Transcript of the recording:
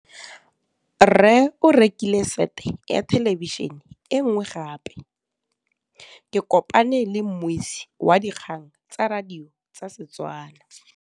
Rre o rekile sete ya thêlêbišênê e nngwe gape. Ke kopane mmuisi w dikgang tsa radio tsa Setswana.